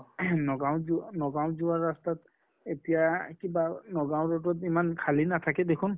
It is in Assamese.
ing নগাঁৱ ত যোৱা নগাঁৱ যোৱা ৰাস্তাত এতিয়া কিবা নগাঁৱ road ত ইমান খালী নাথাকে দেখুন,